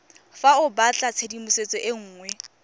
fa o batlatshedimosetso e nngwe